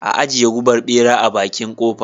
Ajiye gubar bera a bakin kofa.